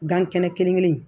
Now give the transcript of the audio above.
Gan kɛnɛ kelen kelen in